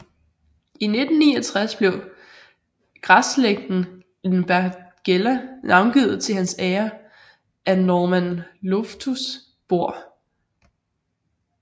I 1969 blev græsslægten Lindbergella navngivet til hans ære af Norman Loftus Bor